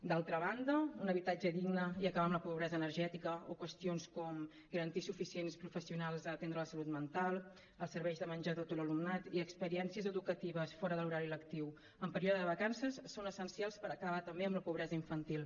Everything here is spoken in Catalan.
d’altra banda un habitatge digne i acabar amb la pobresa energètica o qüestions com garantir suficients professionals per atendre la salut mental els serveis de menjador a tot l’alumnat i experiències educatives fora de l’horari lectiu en període de vacances són essencials per acabar també amb la pobresa infantil